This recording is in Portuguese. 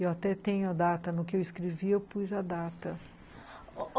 Eu até tenho a data, no que eu escrevi eu pus a data.